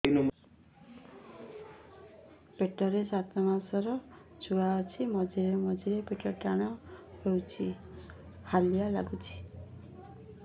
ପେଟ ରେ ସାତମାସର ଛୁଆ ଅଛି ମଝିରେ ମଝିରେ ପେଟ ଟାଣ ହେଇଯାଉଚି ହାଲିଆ ଲାଗୁଚି